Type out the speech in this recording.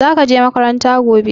Za ka je makaranta gobe?